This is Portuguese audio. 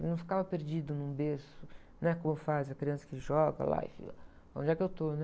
Ele não ficava perdido num berço, né? Como faz a criança que joga lá e fica, onde é que eu estou, né?